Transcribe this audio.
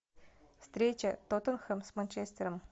встреча тоттенхэм с манчестером